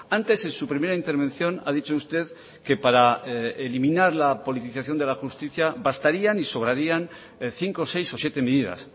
antes en su primera intervención ha dicho usted que para eliminar la politización de la justicia bastarían y sobrarían cinco seis o siete medidas